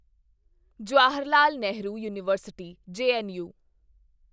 Jawaharlal Nehru university JNU